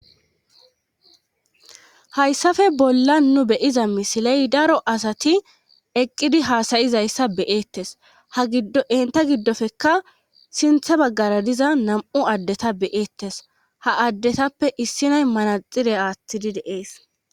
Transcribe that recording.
hayssafe bolla nu beyiza misiley daro asati eqqidi haasayizayssa beyeettes ha giddo enta giddofekka sinthe Baggara diza nam7u addeta beyeettes ha addetappe issinay manaxire aathtidi deees.